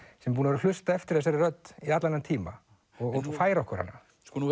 sem hefur hlustað eftir þessari rödd í allan þennan tíma og færa okkur hana